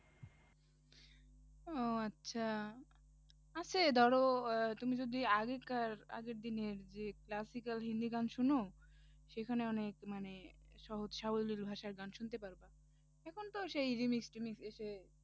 ও আচ্ছা আচ্ছা এই ধরো আহ তুমি যদি আগেকার আগের দিনের যে classical হিন্দি গান শোনো? সেখানে অনেক মানে সহজ সাবলীল ভাষায় গান শুনতে পারবে এখন তো সেই remix টিমিক্স এসে